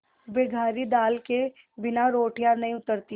बघारी दाल के बिना रोटियाँ नहीं उतरतीं